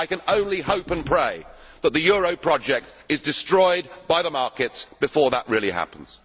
I can only hope and pray that the euro project is destroyed by the markets before that really happens.